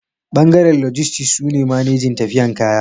bangaren lojistis suke manejin tafiyan kaya